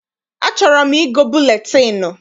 Achọrọ m igo buletịịnụ